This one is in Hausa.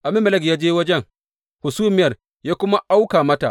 Abimelek ya je wajen hasumiya ya kuma auka mata.